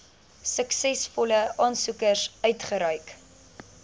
suksesvolle aansoekers uitgereik